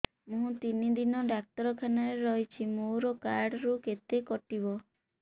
ମୁଁ ତିନି ଦିନ ଡାକ୍ତର ଖାନାରେ ରହିଛି ମୋର କାର୍ଡ ରୁ କେତେ କଟିବ